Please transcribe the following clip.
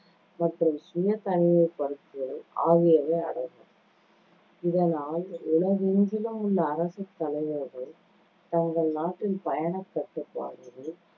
மற்றும் சுய தனிமைப்படுத்துதல் ஆகியவை அடங்கும். இதனால் உலகெங்கிலும் உள்ள அரசுத் தலைவர்கள் தங்கள் நாட்டின் பயணக் கட்டுப்பாடுகள்,